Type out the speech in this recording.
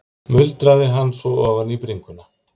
muldraði hann svo ofan í bringuna.